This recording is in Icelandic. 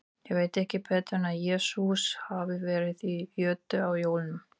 Ég veit ekki betur en að Jesús hafi verið í jötu á jólunum.